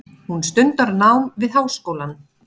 Hún stundar nám við háskólann.